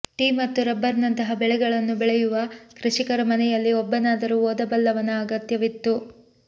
tea ಮತ್ತು rubber ನಂತಹ ಬೆಳೆಗಳನ್ನು ಬೆಳೆಯುವ ಕೃಷಿಕರ ಮನೆಯಲ್ಲಿ ಒಬ್ಬನಾದರೂ ಓದಬಲ್ಲವನ ಅಗತ್ಯವಿತ್ತು